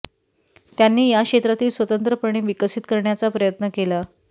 त्यांनी या क्षेत्रातील स्वतंत्रपणे विकसित करण्याचा प्रयत्न केला